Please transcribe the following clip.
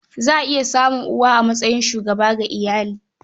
Za a iya samun uwa a matsayin shugaba ga iyali.